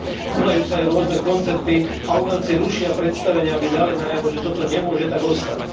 Konajú sa aj rôzne koncerty a umelci rušia predstavenia, aby dali najavo, že toto nemôže tak ostať.